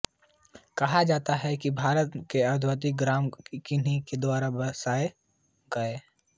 कहा जाता है कि भारत के अधिकांश ग्राम उन्हीं के द्वारा बसाये गये